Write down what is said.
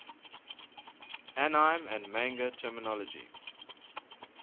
anime and manga terminology